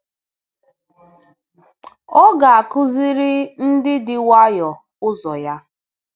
Ọ ga-akụziri ndị dị nwayọọ ụzọ ya.”